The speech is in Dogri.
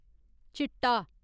चिट्टा